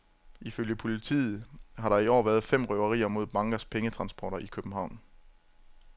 Ifølge politiet har der i år været fem røverier mod bankers pengetransporter i København.